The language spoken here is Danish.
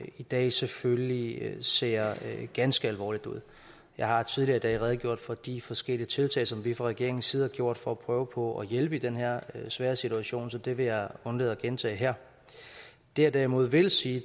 i dag selvfølgelig ser ganske alvorligt ud jeg har tidligere i dag redegjort for de forskellige tiltag som vi fra regeringens side har gjort for at prøve på at hjælpe i den her svære situation så det vil jeg undlade at gentage her det jeg derimod vil sige